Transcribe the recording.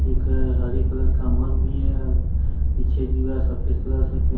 एक हरे कलर का मग भी है पीछे दीवार सफेद कलर से पें--